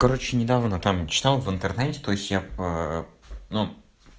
короче недавно там читал в интернете то есть я ну